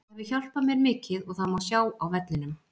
Það hefur hjálpað mér mikið og það má sjá á vellinum.